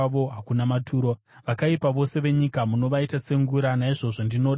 Vakaipa vose venyika munovaita sengura; naizvozvo ndinoda zvamakatema.